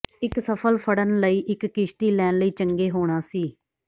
ਇੱਕ ਸਫਲ ਫੜਨ ਲਈ ਇੱਕ ਕਿਸ਼ਤੀ ਲੈਣ ਲਈ ਚੰਗੇ ਹੋਣਾ ਸੀ